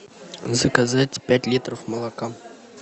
заказать пять литров молока